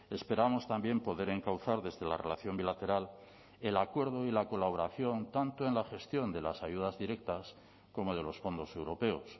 esperamos también poder encauzar desde la relación bilateral el acuerdo y la colaboración tanto en la gestión de las ayudas directas como de los fondos europeos